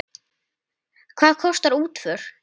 Hvað kostar útför?